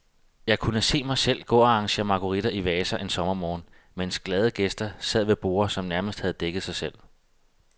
Jeg kunne se mig selv gå og arrangere marguritter i vaser en sommermorgen, mens glade gæster sad ved borde, som nærmest havde dækket sig selv.